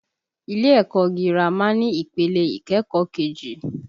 Ilé ẹ̀kọ́ ọ gírámà ni ìpele ìkẹ́kọ̀ọ́ kejì